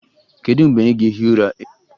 Kedu mgbe ị ga-ehi ụra?